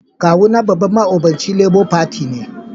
Kawu na babban ma'obocin Labour Party ne.